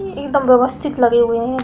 इ एकदम व्यवस्थित लगे हुए हैं।